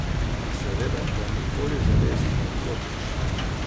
Seveda pa nikoli zares ne odklopiš.